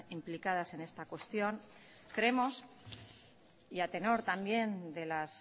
implicadas en esta cuestión creemos y a tenor también de las